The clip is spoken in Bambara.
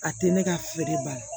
A tɛ ne ka feere ba la